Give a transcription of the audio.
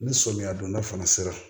Ni samiya donda fana sera